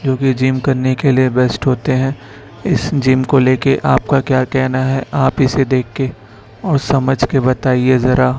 जो कि जिम करने के लिए बेस्ट होते है इस जिम को लेके आप का क्या कहना है आप इसे देख के और समझ के बताईए जरा --